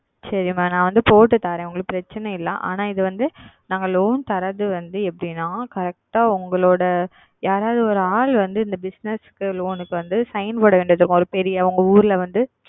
சரி Mam நான் போட்டு தருகிறேன் ஒன்றும் பிரச்சனை இல்லை ஆனால் இது வந்து நாங்கள் Loan தருவது எப்படி என்றால் Correct ஆ உங்களுடைய யாராவது ஓர் ஆள் வந்து இந்த Business Loan க்கு வந்து Sign போடுவது வேண்டும் ஓர் பெரிய உங்கள் ஊரில் வந்து